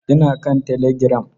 Ina kan telegiram.